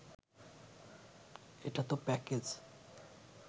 এটাতো প্যাকেজ